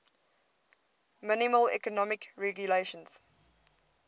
minimal economic regulations